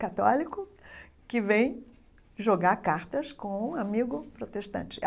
católico, que vem jogar cartas com um amigo protestante.